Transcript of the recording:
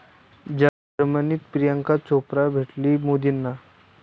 जर्मनीत प्रियांका चोप्रा भेटली मोदींना